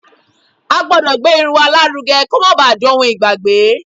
A gbọ́dọ̀ gbé irun wa lárugẹ kó má ba à dohun ìgbàgbé